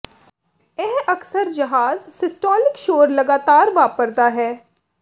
ਇਹ ਅਕਸਰ ਜ਼ਾਹਰ ਸਿਸਟੋਲਿਕ ਸ਼ੋਰ ਲਗਾਤਾਰ ਵਾਪਰਦਾ ਹੈ ਹੈ